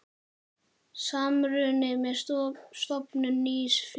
Samruni með stofnun nýs félags.